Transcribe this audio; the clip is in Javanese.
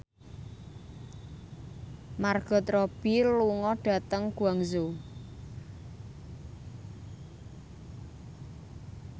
Margot Robbie lunga dhateng Guangzhou